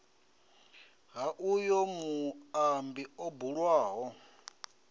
ha uyo muambi o bulwaho